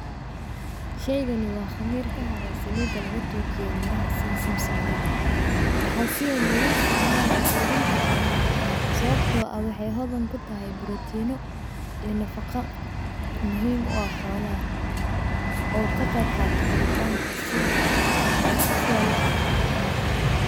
Sheygan waa qamir kahare saliida laga tuujiye miraha sidi zamzamka, waxaa si weyn logu isticmaala qudunta xoolaha sababto ah waxay hodan kutahay brotino ee nafaqa muhiim u ah xoolaha oo ka qeb qaato korintanka sida xoolaha sida loo'da